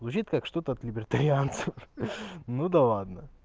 звучит как что-то от либертарианцев ну да ладно